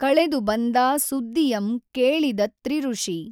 ಕಳೆದು ಬಂದಾ ಸುದ್ದಿಯಂ ಕೇಳಿದತ್ರಿಋಷಿ